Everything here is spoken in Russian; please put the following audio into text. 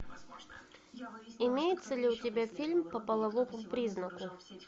имеется ли у тебя фильм по половому признаку